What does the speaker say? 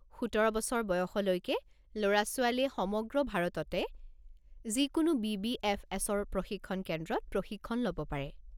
১৭ বছৰ বয়সলৈকে ল'ৰা-ছোৱালীয়ে সমগ্ৰ ভাৰততে যিকোনো বি.বি.এফ.এছ.-ৰ প্ৰশিক্ষণ কেন্দ্ৰত প্ৰশিক্ষণ ল'ব পাৰে।